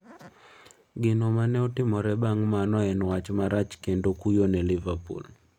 Gino mane otimore bang' mano en wach marach kendo kuyo ne Liverpool.